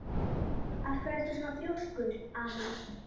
Af hverju ertu svona þrjóskur, Amý?